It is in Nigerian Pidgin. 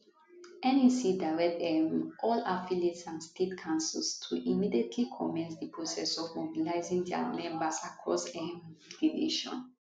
nec direct um all affiliates and state councils to immediately commence di process of mobilizing dia members across um di nation